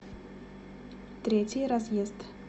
третий разъезд